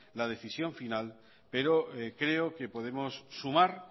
la decisión final pero creo que podemos sumar